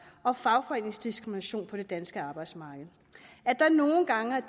og fagforeningsdiskrimination på det danske arbejdsmarked at det nogle gange